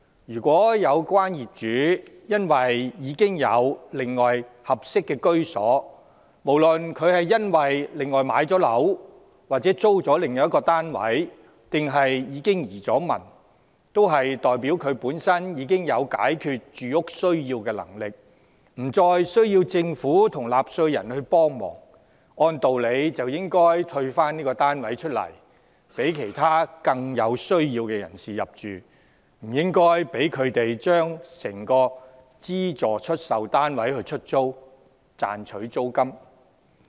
如有關業主已另有合適居所，無論是購置或租住了另一單位，還是已移民，均代表他本身已有能力滿足住屋需要，不再需要政府及納稅人協助，按道理便應退出該單位，讓其他更有需要的人士入住，不應讓他把整個資助出售單位出租，賺取租金。